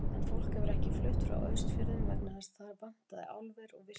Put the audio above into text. En fólk hefur ekki flutt frá Austfjörðum vegna þess að þar vantaði álver og virkjun.